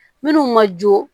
Minnu ma jo